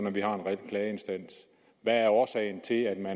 at vi har en reel klageinstans hvad er årsagen til at man